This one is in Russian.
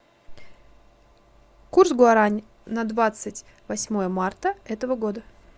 курс гуарани на двадцать восьмое марта этого года